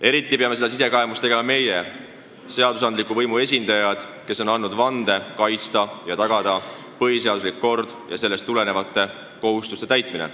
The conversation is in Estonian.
Eriti vajame seda sisekaemust meie, seadusandliku võimu esindajad, kes me oleme andnud vande kaitsta põhiseaduslikku korda ja tagada sellest tulenevate kohustuste täitmine.